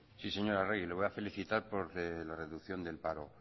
sí señora arregi le voy a felicitar por la reducción del paro